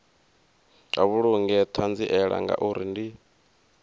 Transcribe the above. vha vhulunge ṱhanziela ngauri ndi